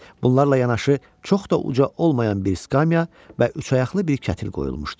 Bunlarla yanaşı çox da uca olmayan bir skamiya və üçayaqlı bir kətil qoyulmuşdu.